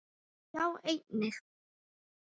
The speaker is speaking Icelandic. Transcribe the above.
Sjá einnig